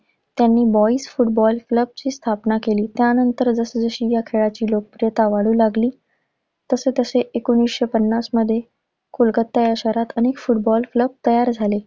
त्यांनी boyz football club ची स्थापना केली. त्यानंतर जसजशी ह्या खेळाची लोकप्रियता वाढू लागली तसेतसे एकोणीसशे पन्नास मध्ये कोलकत्ता या शहरात अनेक फुटबॉल club तयार झाले.